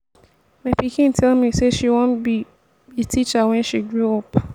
my pikin tell me say she wan be be teacher wen she grow up